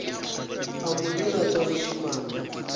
a mo dira tša bošemane